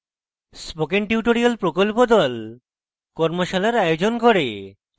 spoken tutorial প্রকল্প the কর্মশালার আয়োজন করে